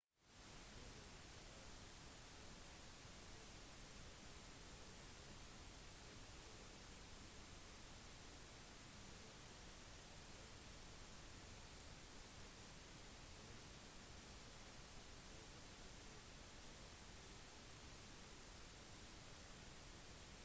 når det er sagt så kan du forberede deg på å bli tungpustet bare vær varsom i de brattere delene særlig når det er vått for da kan det raskt bli farlig